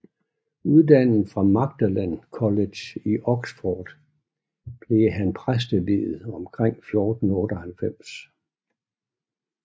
Uddannet fra Magdalen College i Oxford blev han præsteviet omkring 1498